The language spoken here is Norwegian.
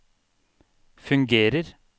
fungerer